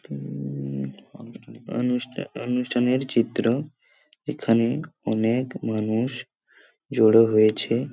উম অনুষ্ঠা অনুষ্ঠানের চিত্র এখানে অনেক মানুষ জড়ো হয়েছে।